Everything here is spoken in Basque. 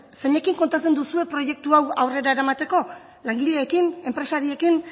zeinekin kontatzen duzue proiektu hau aurrera eramateko langileekin enpresariekin